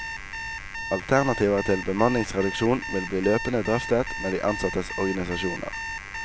Alternativer til bemanningsreduksjon vil bli løpende drøftet med de ansattes organisasjoner.